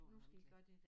Nu skal i gøre det dér